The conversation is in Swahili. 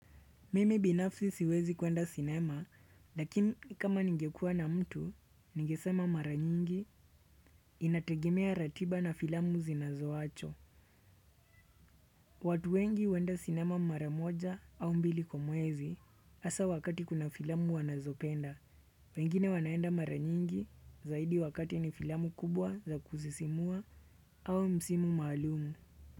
Mimi binafsi siwezi kuenda cinema, lakini kama ningekua na mtu, ningesema mara nyingi, inategemea ratiba na filamu zinazoacho. Watu wengi huenda cinema mara moja au mbili kwa mwezi, hasa wakati kuna filamu wanazopenda, wengine wanaenda mara nyingi, zaidi wakati ni filamu kubwa za kuzisimua au msimu maalumu.